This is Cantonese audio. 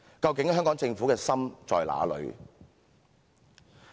"究竟香港政府的心在哪裏？